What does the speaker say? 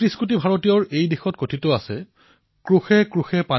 আমাৰ ভাৰত ভূমিত অতীজৰে পৰা শতাধিক ভাষা পুষ্পিতপল্লৱিত হৈ আহিছে